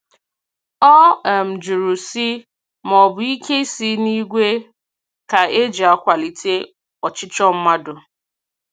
Ọ um jụrụ sị maọbụ ike si n'igwe ka eji akwalite ọchịchọ mmadụ.